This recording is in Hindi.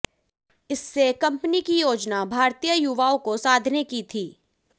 इससे कंपनी की योजना भारतीय युवाओं को साधने की थी